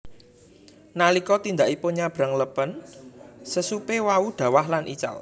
Nalika tindakipun nyabrang lepen sesupe wau dhawah lan ical